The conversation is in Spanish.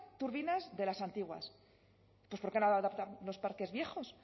turbinas de las antiguas pues por qué no adaptar los parques viejos